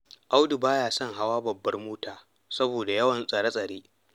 Audu ba ya son hawan babbar mota, saboda yawan tsare-tsare.